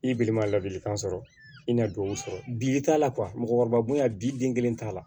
I balima ladilikan sɔrɔ i na don sɔrɔ bi t'a la mɔgɔkɔrɔba bonya bi den kelen t'a la